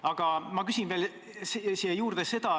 Aga ma küsin veel siia juurde.